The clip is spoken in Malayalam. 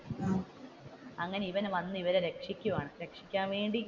അങ്ങനെ ഇവാൻ വന്നു ഇവരെ രക്ഷിക്കുവാണ് രക്ഷിക്കാൻ വേണ്ടി,